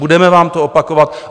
Budeme vám to opakovat.